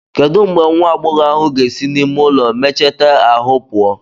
Kedu mgbe nwa agbọghọ ahụ ga-esi n'ime ụlọ mecheta ahụ pụọ?